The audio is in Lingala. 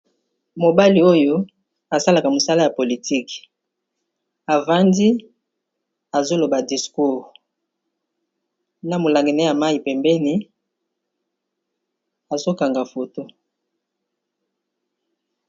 Mobali oyo asalaka mosala ya politik avandi azoloba discours na molangi ne ya mayi pembeni azokanga foto.